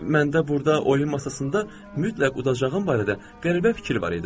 Məndə burda oyun masasında mütləq udacağım barədə qəribə fikir var idi.